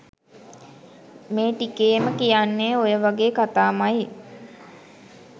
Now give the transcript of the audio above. මේ ටිකේම කියන්නේ ඔය වගේ කතාමයි